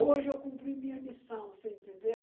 Hoje eu cumpri minha missão, você entendeu?